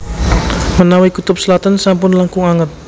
Menawi kutub selatan sampun langkung anget